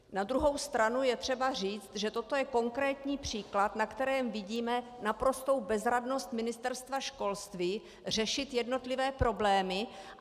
Na druhou stranu je třeba říct, že toto je konkrétní příklad, na kterém vidíme naprostou bezradnost Ministerstva školství řešit jednotlivé problémy.